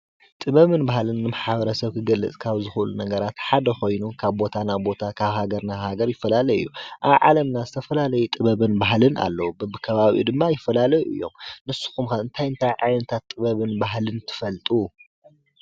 ጥበብን ባህልን ንማሕረሰብ ዝገለፅ ካብ ዝኽእሉ ነገራት ሓደ ኮይኑ ካብ ቦታ ናብ ቦታ ካብ ሃገር ናብ ሃገር ይፈላለዩ እዩ፡፡ ኣብ ዓለምና ዝተፈላለዩ ጥበብን ባህልን ኣለው፡፡ በቢከበባኡ ድማ ይፈላለዩ እዮም፡፡ ንስኹም ኸ እንታይ እንታይ ዓይነት ጥበብን ባህልን ትፈልጡ?